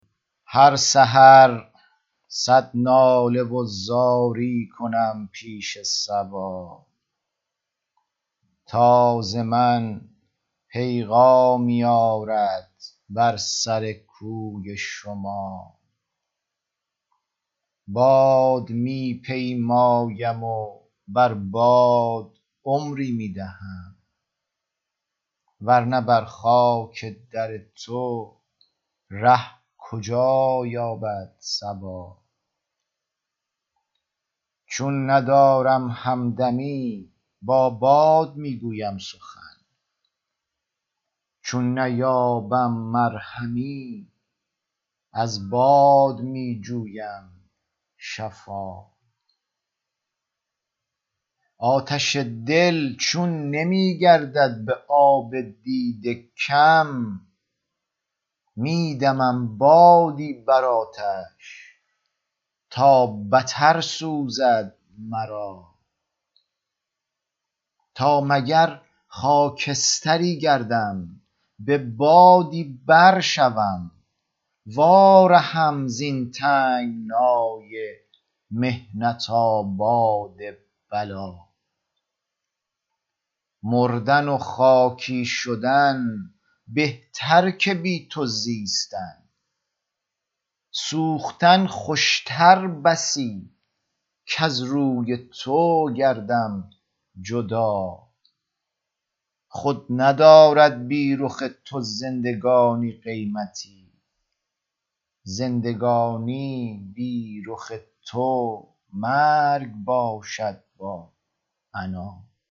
هر سحر صد ناله و زاری کنم پیش صبا تا ز من پیغامی آرد بر سر کوی شما باد می پیمایم و بر باد عمری می دهم ورنه بر خاک در تو ره کجا یابد صبا چون ندارم همدمی با باد می گویم سخن چون نیابم مرهمی از باد می جویم شفا آتش دل چون نمی گردد به آب دیده کم می دمم بادی بر آتش تا بتر سوزد مرا تا مگر خاکستری گردم به بادی بر شوم وا رهم زین تنگنای محنت آباد بلا مردن و خاکی شدن بهتر که بی تو زیستن سوختن خوشتر بسی کز روی تو گردم جدا خود ندارد بی رخ تو زندگانی قیمتی زندگانی بی رخ تو مرگ باشد با عنا